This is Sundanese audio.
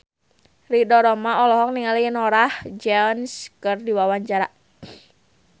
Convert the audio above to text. Ridho Roma olohok ningali Norah Jones keur diwawancara